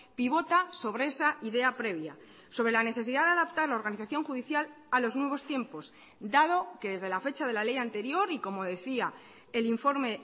pivota sobre esa idea previa sobre la necesidad de adaptar la organización judicial a los nuevos tiempos dado que desde la fecha de la ley anterior y como decía el informe